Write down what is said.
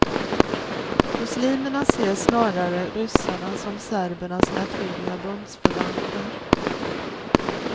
Muslimerna ser snarare ryssarna som serbernas naturliga bundsförvanter.